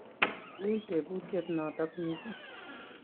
ui tebutiet notok mising